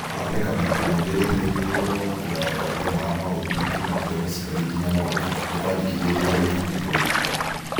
Kũhanĩka maita maingĩ gũterĩgĩrĩirwo na kũgaya kwa thĩna wa maũthĩ kuma kũrĩ mũciari nginya mwana, nĩkwandĩkithĩtio harĩ ibuku rĩa ũrigitani